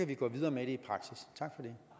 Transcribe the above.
det